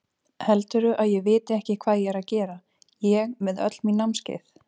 Heldurðu að ég viti ekki hvað ég er að gera, ég með öll mín námskeið.